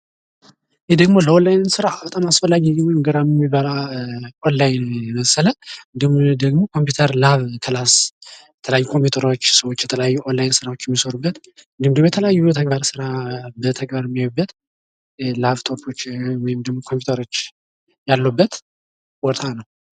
ይህ ደሞ ለኦላይን ስራ በጣም አስፈላጊ የሆነ ወይም ገራሚ የሚባል ኦንላይን የመሰለ ፤ እንዲሁም ደሞ ኮምፕዩተር ላብ ክላሥ የተለያዩ ኮምፕዩተሮች፣ ሰዎች የተለያዩ ኦንላይን ስራዎች የሚሰሩበት ፤ እንዲሁም ደሞ የተለያዩ የተግባር ስራ በተግባር የሚያዩበት ላፕቶፖች ወይም ደሞ ኮምፕዩተሮች ያሉበት ቦታ ነው።